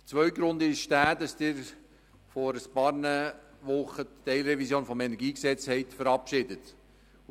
Der zweite Grund ist, dass Sie vor ein paar Wochen die Teilrevision des KEnG verabschiedet haben.